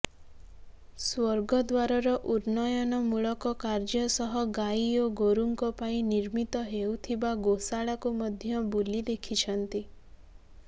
ସ୍ୱର୍ଗଦ୍ୱାରର ଉନ୍ନୟନମୂଳକ କାର୍ଯ୍ୟ ସହ ଗାଇ ଓ ଗୋରୁଙ୍କ ପାଇଁ ନିର୍ମିତ ହେଉଥିବା ଗୋଶାଳାକୁ ମଧ୍ୟ ବୁଲି ଦେଖିଛନ୍ତି